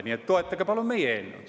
Nii et toetage palun meie eelnõu.